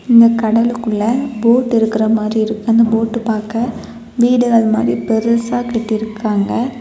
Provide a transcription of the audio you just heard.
இங்க கடலுக்குள்ள போட்டு இருக்குற மாரி இருக்கு. அந்த போட்டு பாக்க வீடுகள் மாதிரி பெருசாக கட்டி இருக்காங்க.